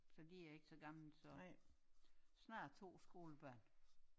Så de er ikke så gamle så snart 2 skolebørn